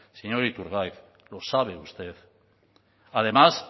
señor iturgaiz lo sabe usted además